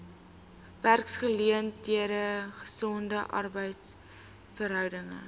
werksgeleenthede gesonde arbeidsverhoudinge